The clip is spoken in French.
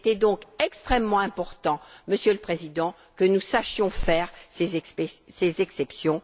Il était donc extrêmement important, Monsieur le Président, que nous sachions faire ces exceptions.